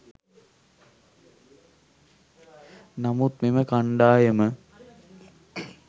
නමුත් මෙම කණ්ඩායම